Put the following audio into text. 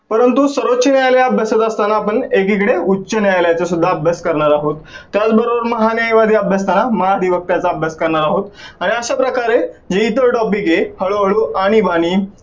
परंतु सर्वोच्च न्यायालय अभ्यासत असताना आपण एकीकडे उच्च न्यायालयाचा सुद्धा अभ्यास करणार आहोत. त्याचबरोबर महागाई वरती अभ्यासताना महा व्यवस्थांचा अभ्यास करणार आहोत, आणि अश्या प्रकारे हे जे सर्व topic आहेत हळू हळू आणीबाणी